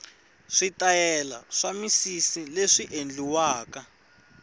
switayela swa misisileswi endliwaka